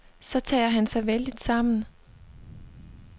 Så tager han sig vældigt sammen.